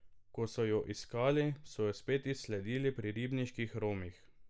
Ko so jo iskali, so jo spet izsledili pri ribniških Romih.